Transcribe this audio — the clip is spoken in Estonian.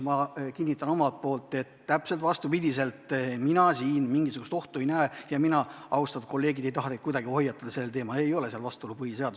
Ma kinnitan omalt poolt, et täpselt vastupidi, mina siin mingisugust ohtu ei näe ja mina, austatud kolleegid, ei taha teid kuidagi selles küsimuses hoiatada.